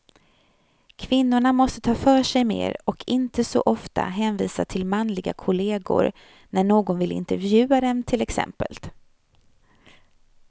Kvinnorna måste ta för sig mer, och inte så ofta hänvisa till manliga kollegor när någon vill intervjua dem till exempel.